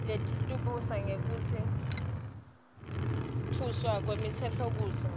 letebulungiswa nekutfutfukiswa kwemtsetfosisekelo